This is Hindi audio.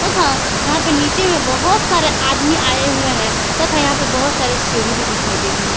हा यहां पे नीचे में बहोत सारे आदमी आए हुए हैं तथा यहां पे बहोत सारे सीढ़ी भी दिखाई दे रही है।